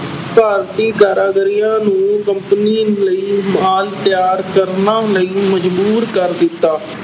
ਭਾਰਤੀ ਕਾਰੀਗਰਾਂ ਨੂੰ company ਲਈ ਮਾਲ ਤਿਆਰ ਕਰਨ ਲਈ ਮਜਬੂਰ ਕਰ ਦਿੱਤਾ।